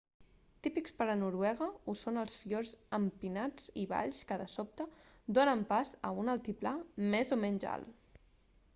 típics per a noruega ho són els fiords empinats i valls que de sobte donen pas a un altiplà més o menys alt